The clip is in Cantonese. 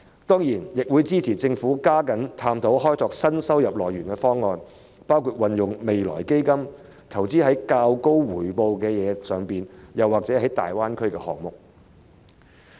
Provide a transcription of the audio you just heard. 當然，我亦會支持政府加緊探討開拓新收入來源的方案，包括把未來基金投資在較高回報的項目，或者粵港澳大灣區的項目等。